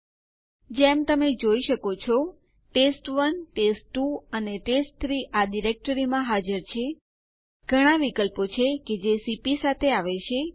home folder માં યુઝરો ની યાદી બતાવવા માટે એલએસ આદેશ નો ઉપયોગ થાય છે